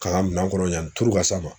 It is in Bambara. K'a ka minan kɔnɔ yani turu ka s'a ma.